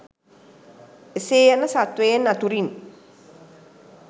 එසේ යන සත්වයන් අතුරින්